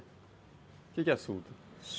O que que é suta?